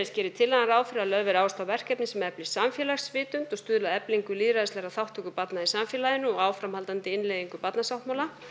gerir tillagan ráð fyrir að lögð verði áhersla á verkefni sem efli samfélagsvitund og stuðli að eflingu lýðræðislegrar þátttöku barna í samfélaginu og áframhaldandi innleiðingu barnasáttmála